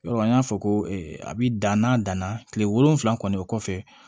Yɔrɔ an y'a fɔ ko a bɛ dan n'a danna kile wolonwula kɔni o kɔfɛ